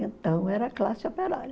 Então era classe operária.